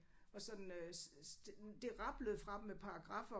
Og sådan øh det det rablede fra dem med paragraffer